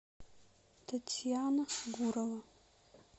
татьяна гурова